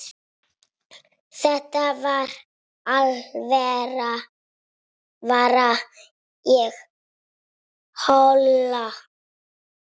Þetta var alvara, ég hló.